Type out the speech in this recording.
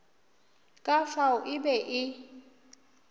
ka fao e be e